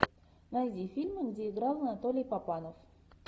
найди фильмы где играл анатолий папанов